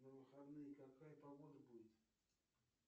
на выходные какая погода будет